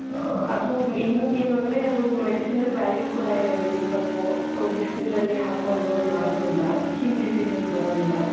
ಅ ಅದು ಇನ್ನೊಂದ್ ಏನು ಅಂದ್ರೆ ಅದು medicinal values ಕೂಡ ಇದೆ ಬೆವಿನ್ ಸೊಪ್ಪು so ಬಿಸಿ ನೀರಲ್ಲಿ ಹಾಕೊಂಡು ಮಾಡೋದ್ರಿಂದ skin diseases ಬರೋದಿಲ್ಲ .